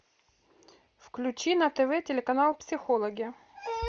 включи на тв телеканал психологи